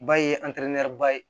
Ba ye ba ye